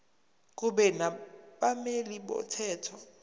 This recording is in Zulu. kube nabameli bomthetho